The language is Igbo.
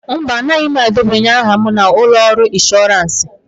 Mba, anaghị m edebanye aha na ụlọ ọrụ inshọransị.